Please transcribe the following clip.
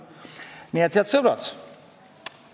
Head sõbrad!